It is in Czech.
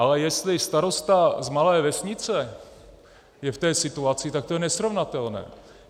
Ale jestli starosta z malé vesnice je v té situaci, tak to je nesrovnatelné.